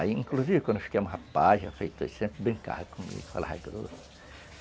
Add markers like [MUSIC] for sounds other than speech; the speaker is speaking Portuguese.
Aí, inclusive, quando eu fiquei um rapaz, [UNINTELLIGIBLE] sempre brincava comigo, falava. [UNINTELLIGIBLE]